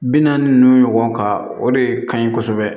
Bi naani ninnu ɲɔgɔn ta o de kaɲi kosɛbɛ